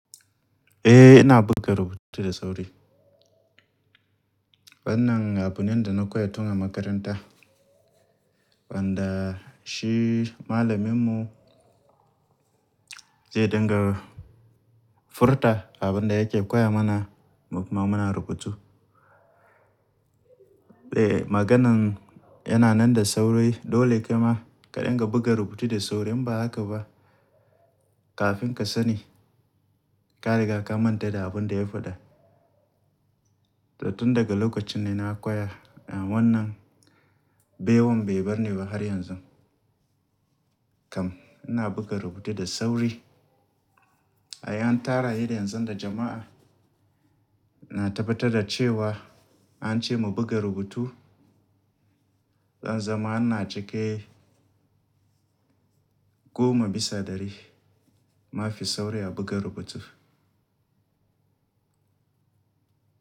Eh, ina buga rubutu da sauri. Wannan abune da na koya tun a makaranta, wanda shi malaminmu zai dinga furta abin da yake koya mana kuma muna rubutu. Eh, maganan yana nan da sauri, dole ka ma ka dinga buga rubutu da sauri, in ba haka ba kafin ka sani ka riga ka manta da abin da ya faɗa. To tun daga lokacin ne na koya wannan, bai wan bai bar ni ba har yanzu. Kam ina buga rubutu da sauri. Ai an tara ni yanzu da jama'a, na tabbatar da cewa an ce mu buga rubutu. Zan zama ina cike goma bisa ɗari, ma fi sauri buga rubutu.